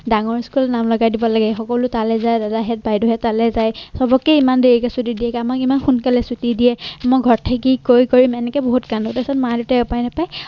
ডাঙৰ school নাম লগাই দিব লাগে। সকলো তালে যায় দাদাহেত বাইদেউহেত তালে যায়। চাবকে ইমান দেৰিকে ছুটি দিয়ে আমাক ইমান সোনকালে ছুটি দিয়ে। মই ঘৰ থাকি এনেকে বহুত কাণ্ডু তাৰ পিছত মা-দেউতাই উপায় নেপাই